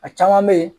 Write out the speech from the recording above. A caman bɛ ye